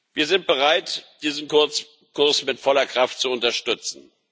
Wir sind bereit, diesen Kurs mit voller Kraft zu unterstützen.